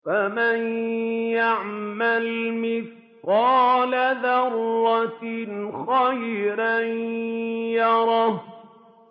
فَمَن يَعْمَلْ مِثْقَالَ ذَرَّةٍ خَيْرًا يَرَهُ